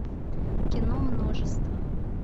кино множество